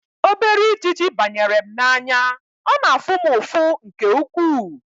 Obere ijiji banyere m n'anya, ọ na-afụ m ụfụ nke ukwuu